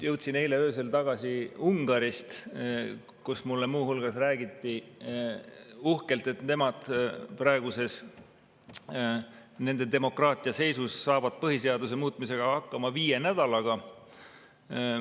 Jõudsin eile öösel tagasi Ungarist, kus mulle muu hulgas räägiti uhkelt, et nemad saavad oma praeguses demokraatia seisus põhiseaduse muutmisega hakkama viie nädalaga.